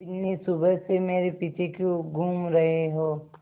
बिन्नी सुबह से मेरे पीछे क्यों घूम रहे हो